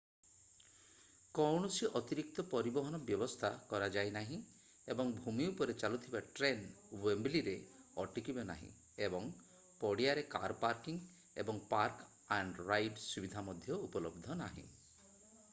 କୌଣସି ଅତିରିକ୍ତ ପରିବହନ ବ୍ୟବସ୍ଥା କରାଯାଇ ନାହିଁ ଏବଂ ଭୂମି ଉପରେ ଚାଲୁଥିବା ଟ୍ରେନ୍ ୱେମ୍ବଲିରେ ଅଟକିବ ନାହିଁ ଏବଂ ପଡ଼ିଆରେ କାର୍ ପାର୍କିଂ ଏବଂ ପାର୍କ ଆଣ୍ଡ ରାଇଡ୍ ସୁବିଧା ମଧ୍ୟ ଉପଲବ୍ଧ ନାହିଁ